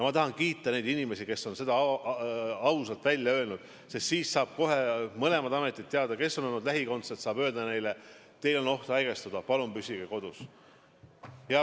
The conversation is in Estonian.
Ma tahan kiita neid inimesi, kes on seda ausalt välja öelnud, sest siis saavad kohe mõlemad ametid teada, kes on olnud lähikondsed, ja saavad öelda neile: teil on oht haigestuda, palun püsige kodus.